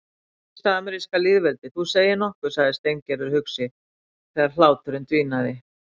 Fyrsta ameríska lýðveldið, þú segir nokkuð sagði Steingerður hugsi þegar hláturinn dvínaði.